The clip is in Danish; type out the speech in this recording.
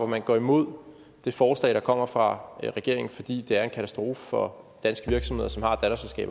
man går imod det forslag der kommer fra regeringen fordi det er en katastrofe for danske virksomheder som har